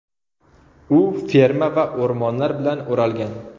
U ferma va o‘rmonlar bilan o‘ralgan.